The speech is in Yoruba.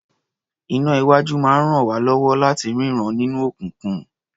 Iná-iwájú máa ń ràn wá lọ́wọ́ láti rínran nínú òkùnkùn.